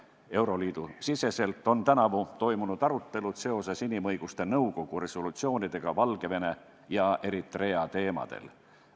Euroliidus on tänavu toimunud arutelud seoses inimõiguste nõukogu resolutsioonidega Valgevene ja Eritrea teemadel.